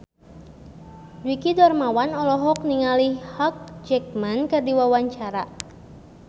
Dwiki Darmawan olohok ningali Hugh Jackman keur diwawancara